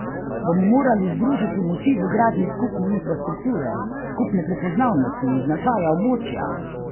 Bomo morali združiti moči v gradnji skupne infrastrukture, skupne prepoznavnosti in značaja območja?